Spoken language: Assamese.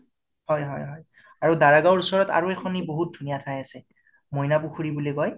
হয় হয় হয় আৰু দাৰা গাওঁৰ ওচৰত আৰু এখনি বহুত ধুনীয়া ঠাই আছে , মইনা পুখুৰী বুলি কয়